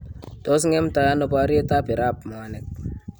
Tos ng'emtai ano boryeet ab Irab mwanik?